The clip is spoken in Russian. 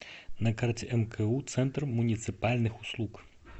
на карте мку центр муниципальных услуг